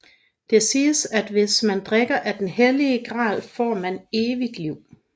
Det siges at hvis man drikker af den hellige gral får man evigt liv